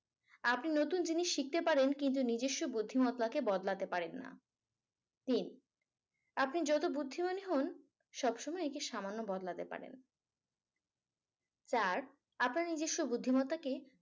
আপনি নতুন জিনিস শিখতে পারেন কিন্তু নিজস্ব বুদ্ধিমত্তাকে বদলাতে পারেন না। তিন আপনি যত বুদ্ধিমানই হন। সব সময় একে সামান্য বদলাতে পারেন। চার আপনার নিজস্ব বুদ্ধিমত্তাকে